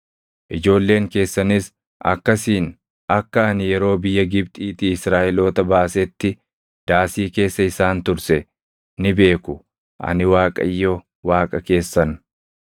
ijoolleen keessanis akkasiin akka ani yeroo biyya Gibxiitii Israaʼeloota baasetti daasii keessa isaan turse ni beeku. Ani Waaqayyo Waaqa keessan.’ ”